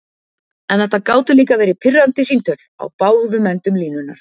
En þetta gátu líka verið pirrandi símtöl, á báðum endum línunnar.